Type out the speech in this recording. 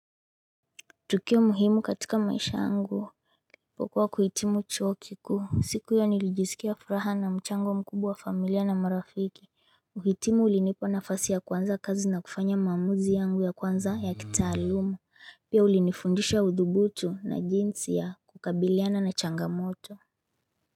Tukio muhimu katika maisha yangu nilipokuwa kuhitimu chuo kikuu siku ya nilijisikia furaha na mchango mkubwa wa familia na marafiki uhitimu ulinipa nafasi ya kuanza kazi na kufanya maamuzi yangu ya kwanza ya kitaalumu. Pia ulinifundisha udhubutu na jinsi ya kukabiliana na changamoto.